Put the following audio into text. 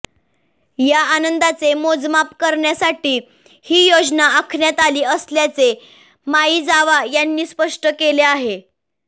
या आनंदाचे मोजमाप करण्यासाठी ही योजना आखण्यात आली असल्याचे माइजावा यांनी स्पष्ट केले आहे